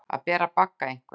Að bera bagga einhvers